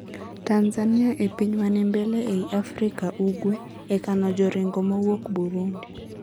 Tanzania e piny manimbele eiy Afrika Ugwe e kano joringo mowuok Burundi.